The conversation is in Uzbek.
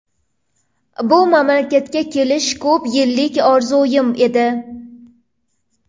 Bu mamlakatga kelish ko‘p yillik orzuyim edi.